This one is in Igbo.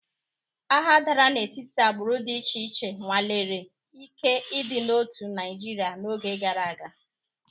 Agha dara n'etiti agbụrụ dị iche iche nwalere ike ịdị n'otu Naịjirịa n'oge gara aga.